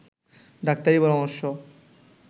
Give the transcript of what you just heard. ডাক্তারি পরামর্শ